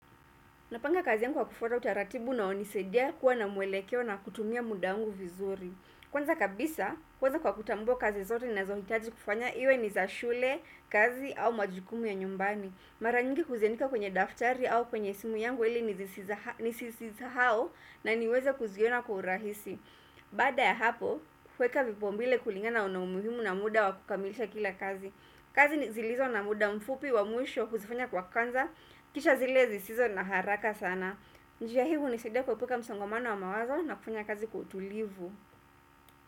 Napanga kazi yangu wa kufuata utaratibu unaonisaidia kuwa na mwelekeo na kutumia muda wangu vizuri. Kwanza kabisa, kwanza kwa kutambua kazi zote nina zohitaji kufanya iwe ni za shule, kazi au majukumu ya nyumbani. Maranyingi huziandika kwenye daftari au kwenye simu yangu ili nisisiza hao na niweza kuziona kwa urahisi. Baada ya hapo, huweka vipaumbile kulingana naumuhimu na muda wa kukamilisha kila kazi. Kazi ni zilizo na muda mfupi wa mwisho huzifanya kwa kanza Kisha zile zi sizo na haraka sana njia hii uni saidia kuepuka msongomano wa mawazo na kufanya kazi kwa utulivu.